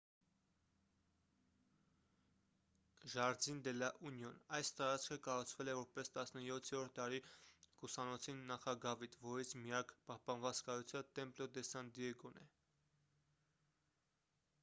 jardín de la unión. այս տարածքը կառուցվել է որպես 17-րդ դարի կուսանոցի նախագավիթ որից միակ պահպանված կառույցը templo de san diego-ն է: